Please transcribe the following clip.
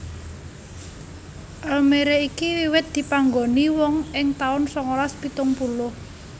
Almere iki wiwit dipanggoni wong ing taun songolas pitung puluh